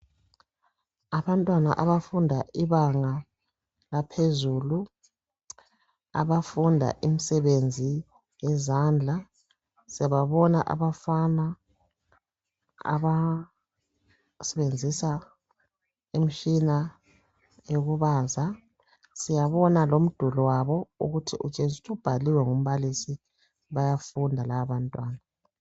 Abantwana abafunda ibanga laphezulu abafunda imisebenzi yezandla, siyababona abafana abasebenzisa imishina yokubaza siyabona lomduli wabo ukuthi utshengisa ubhaliwe ngumbalisi bayafunda laba bantwana.